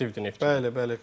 Fəaliyyətlər aktivdir Neftçidə.